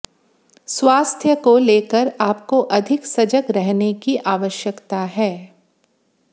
स्वास्थ्य को लेकर आपको अधिक सजग रहने की आवश्यकता है